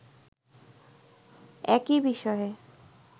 একই বিষয়ে